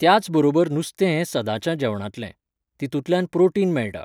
त्याचबरोबर नुस्तें हें सदांच्या जेवणातलें. तितूंतल्यान प्राॅटिन मेळटा